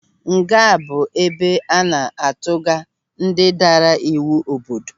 Nga bụ ebe a na-atuga ndị daara iwu obodo.